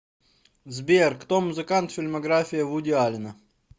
сбер кто музыкант фильмография вуди аллена